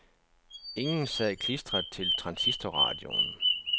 Ingen sad klistret til transistorradioen.